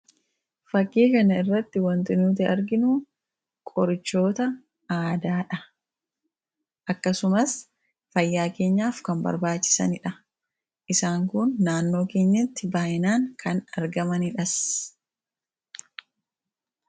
Fakii kana irratti kan arginu qorichoota aadaadha. Akkasumas fayyaa keenyaaf baay'ee barbaachisoodha. Naannoo keenyatti kan argamanidhas.